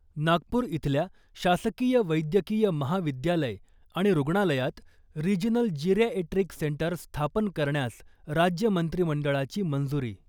नागपूर इथल्या शासकीय वैद्यकीय महाविद्यालय आणि रुग्णालयात रिजनल जिरॅएट्रिक सेंटर स्थापन करण्यास राज्य मंत्रिमंडळाची मंजुरी .